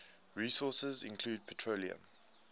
resources include petroleum